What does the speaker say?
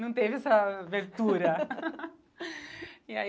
Não teve essa abertura. E aí